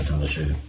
İlahım vətəndaşıyıq.